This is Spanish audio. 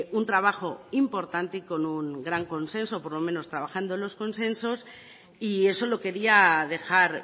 un trabajo importante y con un gran consenso por lo menos trabajando en los consensos y eso lo quería dejar